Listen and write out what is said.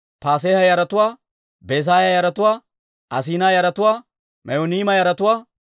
Asinaa yaratuwaa, Me'uniima yaratuwaa, Nafisiima yaratuwaa,